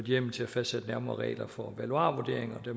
hjemmel til at fastsætte nærmere regler for valuarvurdering og det